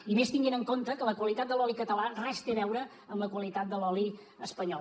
i més tenint en compte que la qualitat de l’oli català res té a veure amb la qualitat de l’oli espanyol